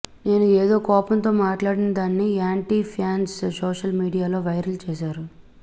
నేను ఏదో కోపంతో మాట్లాడిన దాన్ని యాంటీ ఫ్యాన్స్ సోషల్ మీడియాలో వైరల్ చేశారు